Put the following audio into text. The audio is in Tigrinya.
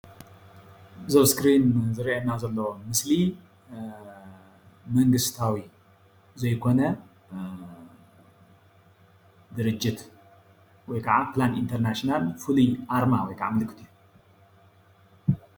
እዚ ኣብ እስክሪን ዝርአየና ዘሎ ምስሊ መንግስታዊ ዘይኮነ ድርጅት ወይ ከዓ ፕላን ኢንተርናሽናል ፍሉይ ኣርማ ወይ ከዓ ምልክት እዩ።